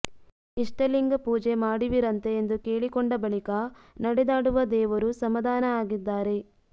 ಇಷ್ಟಲಿಂಗ್ ಪೂಜೆ ಮಾಡುವಿರಂತೆ ಎಂದು ಕೇಳಿಕೊಂಡ ಬಳಿಕ ನಡೆದಾಡುವ ದೇವರು ಸಮಾಧಾನ ಆಗಿದ್ದಾರೆ